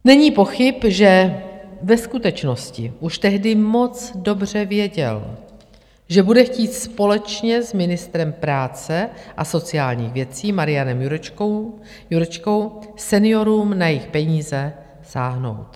Není pochyb, že ve skutečnosti už tehdy moc dobře věděl, že bude chtít společně s ministrem práce a sociálních věcí Marianem Jurečkou seniorům na jejich peníze sáhnout.